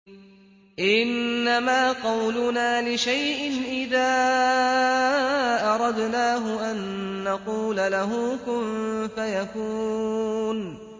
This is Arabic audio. إِنَّمَا قَوْلُنَا لِشَيْءٍ إِذَا أَرَدْنَاهُ أَن نَّقُولَ لَهُ كُن فَيَكُونُ